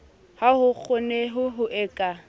ha ho kgoneho e ka